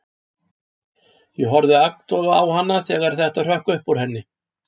Ég horfði agndofa á hana þegar þetta hrökk upp úr henni.